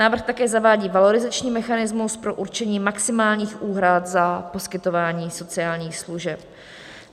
Návrh také zavádí valorizační mechanismus pro určení maximálních úhrad za poskytování sociálních služeb.